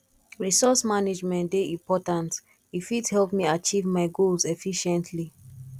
resource management dey important e fit help me achieve my goals efficiently